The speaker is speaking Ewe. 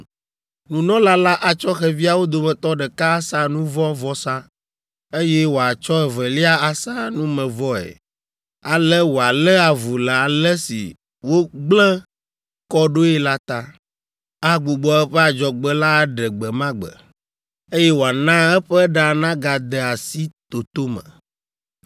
Nunɔla la atsɔ xeviawo dometɔ ɖeka asa nu vɔ̃ vɔsa, eye wòatsɔ evelia asa numevɔe. Ale wòalé avu le ale si wògblẽ kɔ ɖoe la ta. Agbugbɔ eƒe adzɔgbe la aɖe gbe ma gbe, eye wòana eƒe ɖa nagade asi toto me.